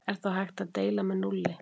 Er þá hægt að deila með núlli?